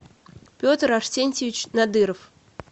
петр арсентьевич надыров